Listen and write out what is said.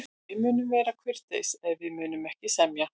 Við munum vera kurteisir, en við munum ekki semja.